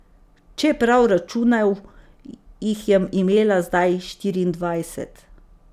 Če je prav računal, jih je imela zdaj štiriindvajset.